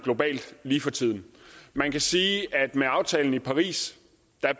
lige for tiden man kan sige at med aftalen i paris